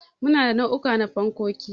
Muna da nau'uka na fankoki.